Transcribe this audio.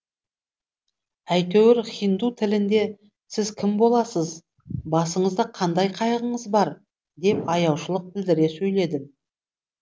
әйтеуір хинду тілінде сіз кім боласыз басыңызда қандай қайғыңыз бар деп аяушылық білдіре сөйледім